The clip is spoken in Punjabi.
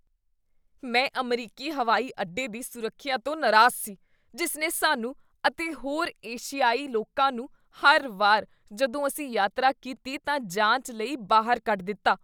ਮੈਂ ਅਮਰੀਕੀ ਹਵਾਈ ਅੱਡੇ ਦੀ ਸੁਰੱਖਿਆ ਤੋਂ ਨਾਰਾਜ਼ ਸੀ, ਜਿਸ ਨੇ ਸਾਨੂੰ ਅਤੇ ਹੋਰ ਏਸ਼ੀਆਈ ਲੋਕਾਂ ਨੂੰ ਹਰ ਵਾਰ ਜਦੋਂ ਅਸੀਂ ਯਾਤਰਾ ਕੀਤੀ ਤਾਂ ਜਾਂਚ ਲਈ ਬਾਹਰ ਕੱਢ ਦਿੱਤਾ।